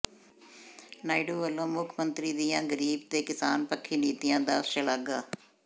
ਨਾਇਡੂ ਵੱਲੋਂ ਮੁੱਖ ਮੰਤਰੀ ਦੀਆਂ ਗਰੀਬ ਤੇ ਕਿਸਾਨ ਪੱਖੀ ਨੀਤੀਆਂ ਦੀ ਸ਼ਲਾਘਾ